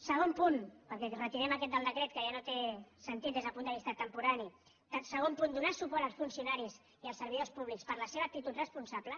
segon punt perquè retirem aquest del decret que ja no té sentit des del punt de vista temporal donar suport als funcionaris i als servidors públics per la seva actitud responsable